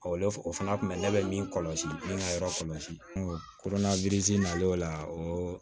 o fana kun bɛ ne bɛ min kɔlɔsi min ka yɔrɔ kɔlɔsi kurunna nalen o la o